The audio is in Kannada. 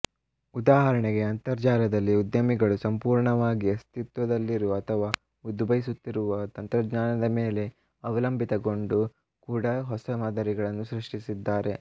ಉದಾಹರಣೆಗೆ ಅಂತರ್ಜಾಲದಲ್ಲಿ ಉದ್ಯಮಿಗಳು ಸಂಪೂರ್ಣವಾಗಿ ಅಸ್ಥಿತ್ವದಲ್ಲಿರುವ ಅಥವಾ ಉದ್ಭವಿಸುತ್ತಿರುವ ತಂತಜ್ಞಾನದ ಮೇಲೆ ಅವಲಂಭಿತಗೊಂಡು ಕೂಡ ಹೊಸ ಮಾದರಿಗಳನ್ನು ಸೃಷ್ಟಿಸಿದ್ದಾರೆ